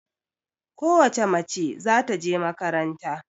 Ko wace mace za ta je makaranta.